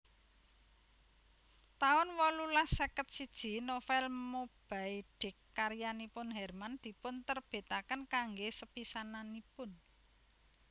taun wolulas seket siji Novel Moby Dick karyanipun Herman dipunterbitaken kanggé sepisananipun